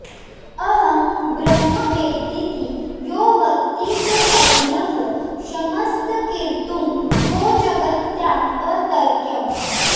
अहं ब्रह्म वेद्यीति यो वक्ति सोऽज्ञः क्षमस्तर्कितुं को जगत्याम् अतर्क्यम्